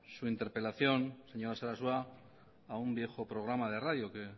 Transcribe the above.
su interpelación señor sarasua a un viejo programa de radio que